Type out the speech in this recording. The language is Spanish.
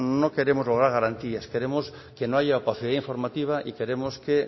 no queremos lograr garantías queremos que no haya opacidad informativa y queremos que